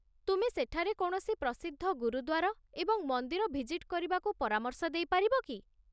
ତୁମେ ସେଠାରେ କୌଣସି ପ୍ରସିଦ୍ଧ ଗୁରୁଦ୍ୱାର ଏବଂ ମନ୍ଦିର ଭିଜିଟ୍ କରିବାକୁ ପରାମର୍ଶ ଦେଇ ପାରିବ କି?